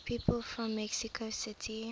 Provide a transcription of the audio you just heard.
people from mexico city